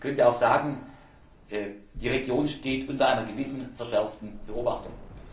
Man könnte auch sagen, die Region steht unter einer gewissen verschärften Beobachtung.